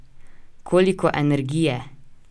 Koliko energije!